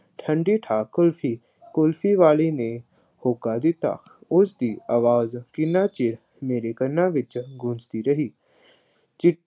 ਠੰਡੀ-ਠਾਰ ਕੁਲਫੀ, ਕੁਲਫੀ ਵਾਲੇ ਨੇ ਹੋਕਾ ਦਿੱਤਾ, ਉਸਦੀ ਆਵਾਜ਼ ਕਿੰਨਾ ਚਿਰ ਮੇਰੇ ਕੰਨਾਂ ਵਿੱਚ ਗੂੰਜ਼ਦੀ ਰਹੀ।